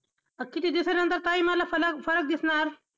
किती दिवसांनंतर, ताई मला फर~फरक दिसणार?